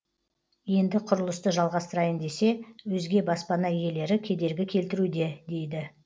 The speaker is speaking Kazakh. енді құрылысты жалғастырайын десе өзге баспана иелері кедергі келтіруде дейді